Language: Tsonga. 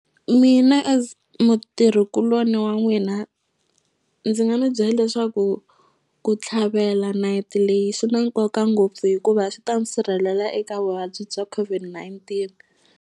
Mina as mutirhi kuloni wa n'wina ndzi nga mi bye leswaku ku tlhavela nayiti leyi swi na nkoka ngopfu hikuva swi ta ni sirhelela eka vuvabyi bya COVID-19.